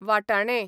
वाटाणे